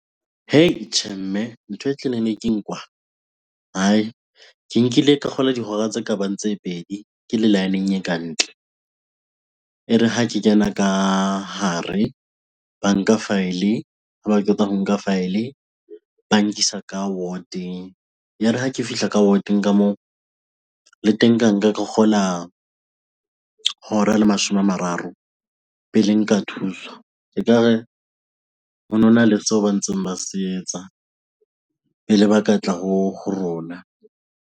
Heii! tjhe mme, ntho e tleliniking kwaa hai! Ke nkile ka kgola dihora tse kabang tse pedi ke le line- eng e ka ntle. E re ha ke kena ka hare banka file-e, ha ba qeta ho nka file-e ba nkisa ka ward-eng. Ya re ha ke fihla ka ward-eng ka moo le teng ka nka ka kgola hora le mashome a mararo pele nka thuswa. Ekare ho nona le seo ba ntseng ba se etsa pele ba ketla ho rona.